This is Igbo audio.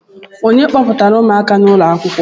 Ònye kpọpụtara ụmụaka n'ụlọ akwụkwọ?